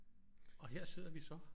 Og her sidder vi så